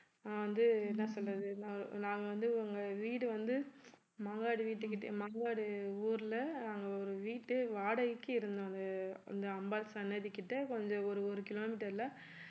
நான் வந்து என்ன சொல்றது நா~ நாங்க வந்து உங்க வீடு வந்து மாங்காடு வீட்டுக்கிட்ட மாங்காடு ஊர்ல நாங்க ஒரு வீட்டு வாடகைக்கு இருந்தோம் அது அந்த அம்பாள் சன்னதி கிட்ட கொஞ்சம் ஒரு ஒரு kilometer ல